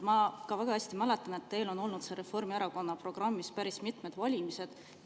Ma ka väga hästi mäletan, et teil on olnud see Reformierakonna programmis päris mitmetel valimistel.